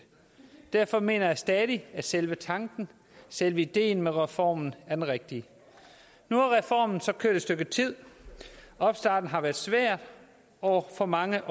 og derfor mener jeg stadig at selve tanken og selve ideen med reformen er den rigtige nu har reformen så kørt et stykke tid og opstarten har været svær og for mange